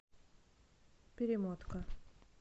перемотка